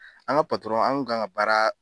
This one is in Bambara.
An ga an kun gan ga baara